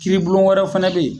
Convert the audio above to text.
Kiiri bulon wɛrɛ fɛnɛ be yen.